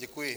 Děkuji.